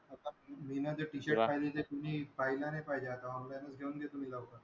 मी ना ते Tshirt काढले ते कुणी पाहायला नाही पाहिजे आता online घेऊन देतो मी लवकर.